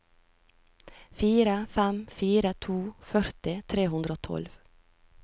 fire fem fire to førti tre hundre og tolv